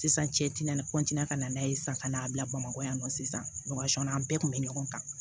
Sisan cɛti na ka na n'a ye sisan ka n'a bila bamakɔ yan nɔ sisan an bɛɛ kun bɛ ɲɔgɔn kan